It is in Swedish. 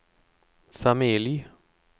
familj